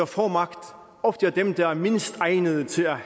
få magt ofte er dem der mindst egnede til at